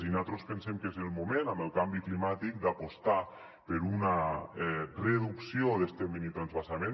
i nosaltres pensem que és el moment amb el canvi climàtic d’apostar per una reducció d’este minitransvasament